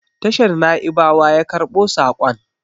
tashar Na'ibawa yakarbo sakon